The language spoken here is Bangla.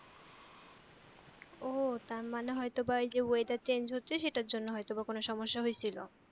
ও তারমানে হয়তোবা এইযে weather change সেটার জন্য হয়তোবা কোন সমস্যা হইছিল